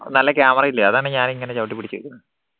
നല്ല camera ഇല്ലേ അതാണ് ഞാൻ ഇങ്ങനെ ചവിട്ടിപ്പിടിച്ച് നിക്കന്നത്